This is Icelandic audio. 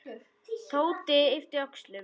Tóti yppti öxlum.